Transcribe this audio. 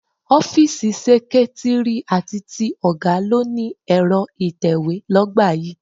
Ọ́fíìsì seketiri àti ti ọ̀gá ló ni Ẹ̀rọ ìtẹ̀we l'ogba yìí.